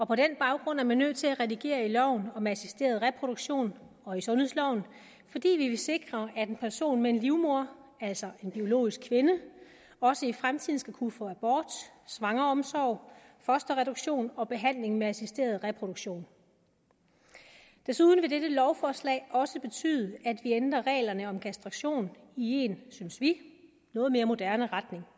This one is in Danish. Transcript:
på den baggrund er man nødt til at redigere i loven om assisteret reproduktion og i sundhedsloven fordi vi vil sikre at en person med en livmoder altså en biologisk kvinde også i fremtiden skal kunne få abort svangreomsorg fosterreduktion og behandling med assisteret reproduktion desuden vil dette lovforslag også betyde at ændrer reglerne om kastration i en synes vi noget mere moderne retning